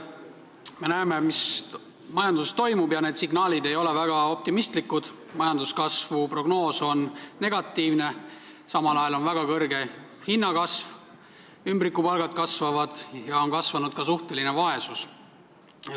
Me näeme, mis majanduses toimub, ja need signaalid ei ole väga optimistlikud: majanduskasvu prognoos on negatiivne, samal ajal on olnud väga suur hinnakasv ning kasvanud ümbrikupalgad ja ka suhteline vaesus.